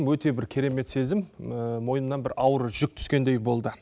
өте бір керемет сезім мойнымнан бір ауыр жүк түскендей болды